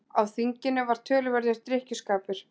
Á þinginu var töluverður drykkjuskapur.